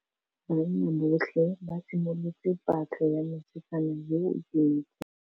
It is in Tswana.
Banna botlhê ba simolotse patlô ya mosetsana yo o timetseng.